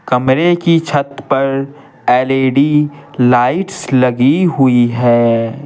कमरे की छत पर एलईडी लाइट्स लगी हुई है।